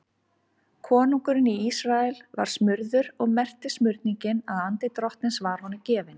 Konungurinn í Ísrael var smurður og merkti smurningin að andi Drottins var honum gefinn.